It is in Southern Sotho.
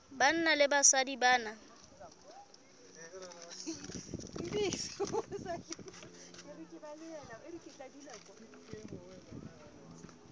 banna le basadi ba na